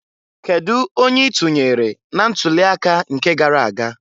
Kedu onye i tunyere na ntuli aka nke gara aga?